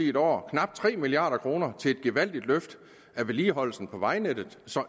et år knap tre milliard kroner til et gevaldigt løft af vedligeholdelsen af vejnettet